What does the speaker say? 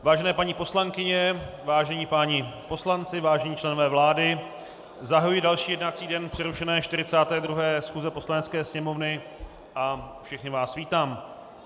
Vážené paní poslankyně, vážení páni poslanci, vážení členové vlády, zahajuji další jednací den přerušené 42. schůze Poslanecké sněmovny a všechny vás vítám.